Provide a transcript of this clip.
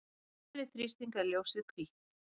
við hærri þrýsting er ljósið hvítt